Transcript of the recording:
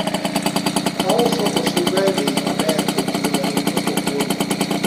ouso osuga e bei maber to ji ohero nyiepo kuome